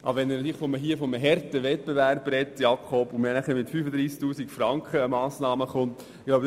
Aber wenn man hier von einem harten Wettbewerb spricht, und man dann mit einer Massnahme von 35 000 Franken kommt, dann reicht das nicht weit.